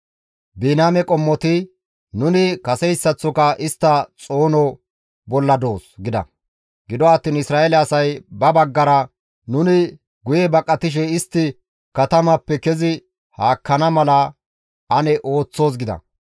Biniyaame qommoti, «Nuni kaseyssaththoka istta xoono bolla doos!» gida. Gido attiin Isra7eele asay ba baggara, «Nuni guye baqatishe istti katamappe kezi haakkana mala ane ooththoos» gida.